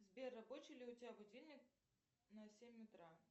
сбер рабочий ли у тебя будильник на семь утра